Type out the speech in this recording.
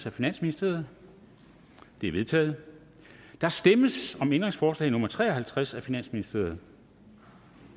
af finansministeren de er vedtaget der stemmes om ændringsforslag nummer tre og halvtreds af finansministeren og